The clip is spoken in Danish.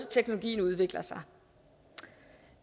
teknologien udvikler sig